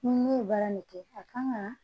Ni min ye baara nin kɛ a kan ka